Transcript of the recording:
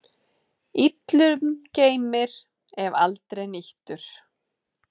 Illum geymir, ef aldrei nýtur.